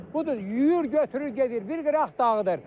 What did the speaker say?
Budur yuyur, götürür, gedir, bir qıraq dağıdır.